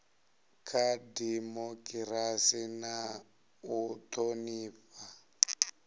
kha dimokirasi na u thonifha